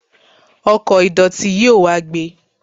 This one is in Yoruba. ọkò ìdòtí yóò wá gbé